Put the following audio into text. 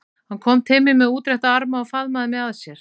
Hann kom til mín með útrétta arma og faðmaði mig að sér.